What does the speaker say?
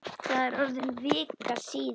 Það er orðin vika síðan.